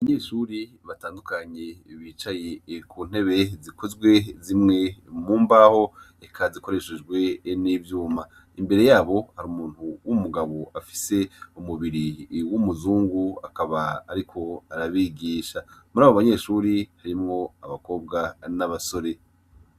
Abanyeshure batandukanye bicaye ku ntebe zikozwe zimwe mu mbaho, eka zikoreshejwe n'ivyuma. Imbere yabo hari umuntu w'umugabo afise umubiri w'umuzungu, akaba ariko arabigisha. Murabo banyeshure hakaba harimwo abakobwa n'abasore.